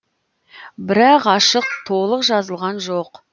бірақ ашық толық жазылған жоқ